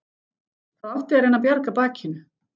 Það átti að reyna að bjarga bakinu.